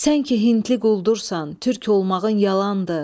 Sən ki hindli quldursan, türk olmağın yalandır.